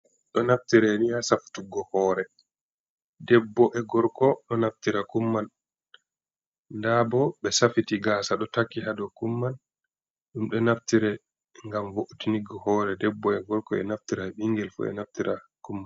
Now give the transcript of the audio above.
Ɗo naftire ni ha saftuggo hoore. Debbo e gorko ɗo naftira Kum man, ndaa bo ɓe safiti gaasa ɗo takki haa dow Kum man, ɗum ɗo naftira ngam vo’itingo hoore debbo e gorko, e naftira e ɓingel fu e naftira Kum man.